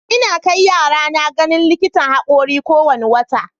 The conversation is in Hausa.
Ina kai yarana ganin likitan haƙori kowane wata.